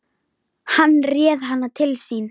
Hann réð hana til sín.